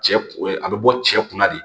Cɛ a bɛ bɔ cɛ kunna de